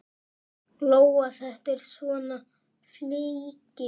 Lóa: Þetta er svona flykki?